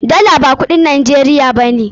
Dala ba kudin Najeriya ba ne.